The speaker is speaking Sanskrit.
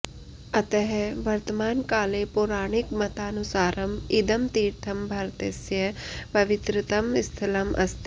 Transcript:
अतः वर्तमानकाले पौराणिकमतानुसारम् इदं तीर्थं भारतस्य पवित्रतमं स्थलम् अस्ति